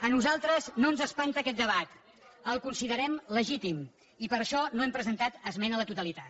a nosaltres no ens espanta aquest debat el considerem legítim i per això no hem presentat esmena a la totalitat